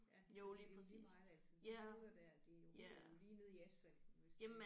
Ja fordi det er lige meget altså de hoveder der det er jo ryger jo lige ned i asfalten hvis det